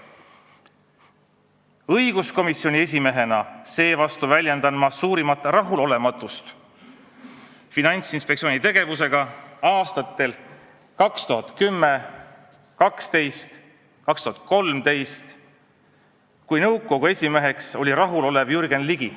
Õiguskomisjoni esimehena seevastu väljendan mina suurimat rahulolematust Finantsinspektsiooni tegevusega aastatel 2010, 2012 ja 2013, kui nõukogu esimeheks oli rahulolev Jürgen Ligi.